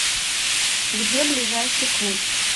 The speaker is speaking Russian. где ближайший клуб